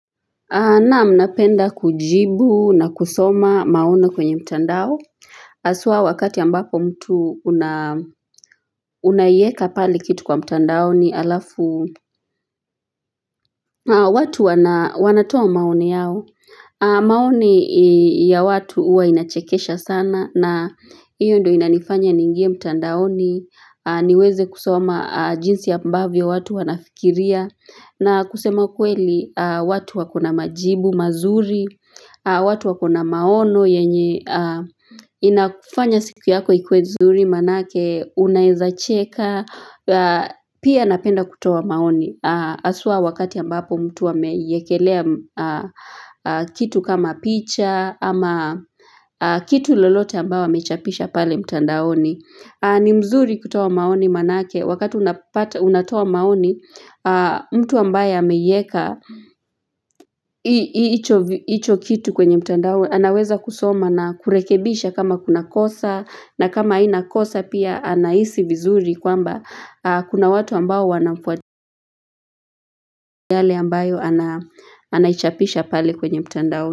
Naam napenda kujibu na kusoma maono kwenye mtandao. Haswa wakati ambapo mtu unaweka pale kitu kwa mtandaoni alafu. Watu wanatoa maoni yao. Maoni ya watu huwa inachekesha sana. Hiyo ndio inanifanya niingie mtandaoni niweze kusoma jinsi ambavyo watu wanafikiria. Na kusema kweli, watu wakona majibu mazuri, watu wakona maono yenye inafanya siku yako ikuwe nzuri manake unaweza cheka, pia napenda kutoa maoni. Haswa wakati ambapo mtu amewekelea kitu kama picha ama kitu lolote ambao amechapisha pale mtandaoni. Ni mzuri kutoa maoni manake wakati unatoa maoni mtu ambaye ameiweka hicho kitu kwenye mtandao anaweza kusoma na kurekebisha kama kuna kosa na kama haina kosa pia anahisi vizuri kwamba Kuna watu ambao wanafuata yale ambayo anaichapisha pale kwenye mtandao.